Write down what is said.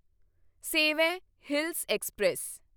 ਸੇਵੇਂ hills express